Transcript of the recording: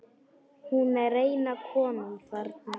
Hún er eina konan þarna.